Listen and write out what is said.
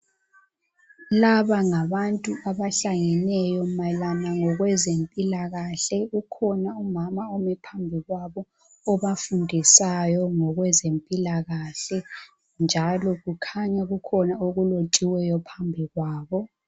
Laba ngabantu abahlangeneyo mayelana ngokwezempilakahle .Kukhona umama omi phambi kwabo obafundisayo ngokwezempilakahle njalo kukhanya kukhona okulethiweyo phambi kwabo.